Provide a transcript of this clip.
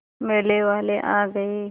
मेले वाले आ गए